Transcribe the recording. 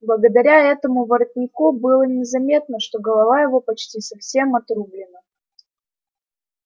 благодаря этому воротнику было незаметно что голова его почти совсем отрублена